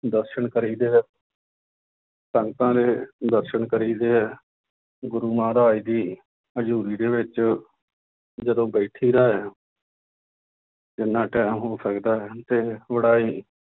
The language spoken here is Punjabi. ਦਰਸਨ ਕਰੀਦੇ ਹੈ ਸੰਗਤਾਂ ਦੇ ਦਰਸਨ ਕਰੀਦੇ ਹੈ ਗੁਰੂ ਮਹਾਰਾਜ ਦੀ ਹਜ਼ੂਰੀ ਦੇ ਵਿੱਚ ਜਦੋਂ ਬੈਠੀਦਾ ਹੈ ਜਿੰਨਾ time ਹੋ ਸਕਦਾ ਹੈ ਤੇ ਬੜਾ ਹੀ